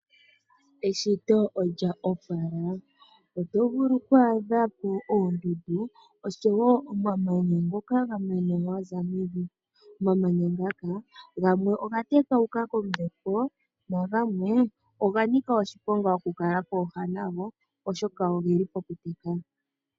Eshito olya opala. Oto vulu oku adha po oondundu oshowo omamanya ngola ga za mevi. Omamanya oga tatuka kombepo nagamwe oga nika oshiponga oku kaliwa popepi nagwo oshoka oge li pokuteka.